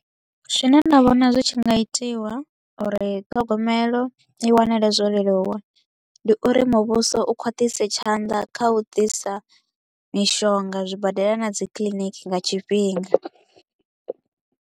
Zwine nda vhona zwi tshi nga itiwa uri ṱhogomelo i wanale zwo leluwa, ndi uri muvhuso u khwaṱhise tshanḓa kha u ḓisa mishonga zwibadela na dzi kiḽiniki nga tshifhinga.